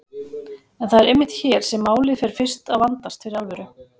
En það er einmitt hér sem málið fer fyrst að vandast fyrir alvöru.